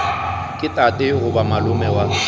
ke tate goba malome wa